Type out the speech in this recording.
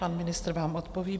Pan ministr vám odpoví.